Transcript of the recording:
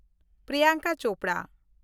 Priyanka Chopra